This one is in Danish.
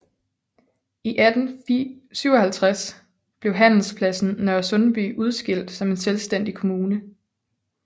I 1857 blev handelspladsen Nørresundby udskilt som en selvstændig kommune